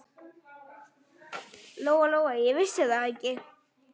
Lóa-Lóa vissi það ekki.